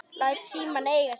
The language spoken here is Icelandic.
Læt símann eiga sig.